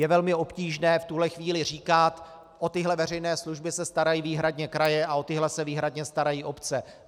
Je velmi obtížné v tuto chvíli říkat: o tyhle veřejné služby se starají výhradně kraje a o tyhle se výhradně starají obce.